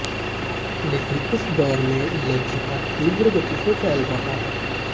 लेकिन इस दौर में लव जिहाद तीव्र गति से फैल रहा है